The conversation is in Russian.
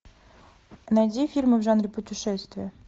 найди фильмы в жанре путешествия